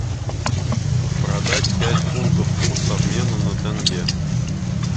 продать пять фунтов курс обмена на тенге